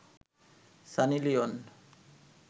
Sunny Leone